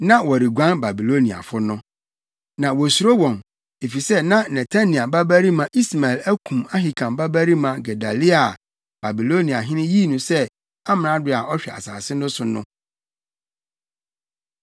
na wɔreguan Babiloniafo no. Na wosuro wɔn, efisɛ na Netania babarima Ismael akum Ahikam babarima Gedalia a Babiloniahene yii no sɛ amrado a ɔhwɛ asase no so no.